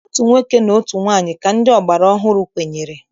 Otu nwoke na otu nwaanyị ka ndị ọgbara ọhụrụ kwenyere.